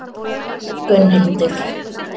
Gunnhildur